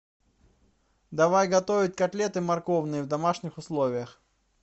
давай готовить котлеты морковные в домашних условиях